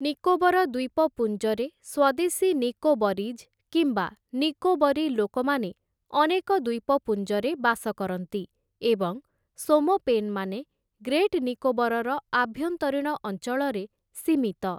ନିକୋବର ଦ୍ୱୀପପୁଞ୍ଜରେ, ସ୍ୱଦେଶୀ ନିକୋବରିଜ୍ କିମ୍ବା ନିକୋବରୀ ଲୋକମାନେ ଅନେକ ଦ୍ୱୀପପୁଞ୍ଜରେ ବାସ କରନ୍ତି ଏବଂ ଶୋମପେନ୍‌ମାନେ ଗ୍ରେଟ୍ ନିକୋବରର ଆଭ୍ୟନ୍ତରୀଣ ଅଞ୍ଚଳରେ ସୀମିତ ।